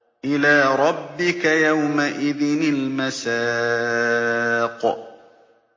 إِلَىٰ رَبِّكَ يَوْمَئِذٍ الْمَسَاقُ